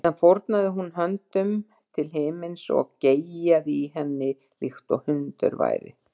Síðan fórnaði hún höndum til himins og geyjaði í henni líkt og hundur væri.